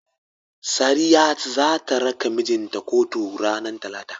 Sariya zata raka mijinta kotun ranar talata.